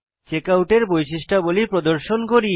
checkout এর বৈশিষ্ট্যাবলী প্রদর্শন করি